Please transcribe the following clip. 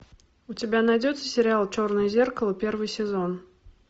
у тебя найдется сериал черное зеркало первый сезон